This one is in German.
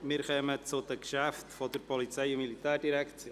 Wir kommen zu den Geschäften der Polizei- und Militärdirektion.